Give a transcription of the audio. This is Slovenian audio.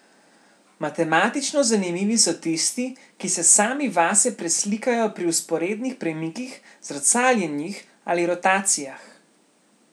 Matematično zanimivi so tisti, ki se sami vase preslikajo pri vzporednih premikih, zrcaljenjih ali rotacijah.